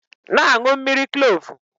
Na-aṅụ mmiri Kloovu!